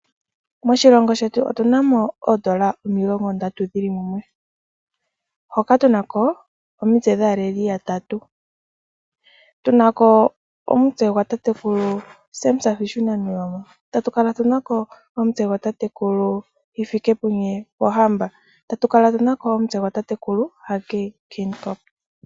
Moshilongo shetu otunamo oondola omilongo ndatu dhili mumwe tunako omitse dhaaleli yatatu. Tunako omitse dhatatekulu Hage, Sam Nuujoma natatekulu Pohamba.